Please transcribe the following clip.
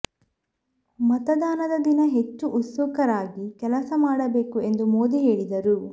ಮತದಾನದ ದಿನ ಹೆಚ್ಚು ಉತ್ಸುಕರಾಗಿ ಕೆಲಸ ಮಾಡಬೇಕು ಎಂದು ಮೋದಿ ಹೇಳಿದರು